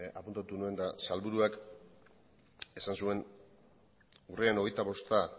apuntatu nuen eta sailburuak esan zuen urriaren hogeita bosta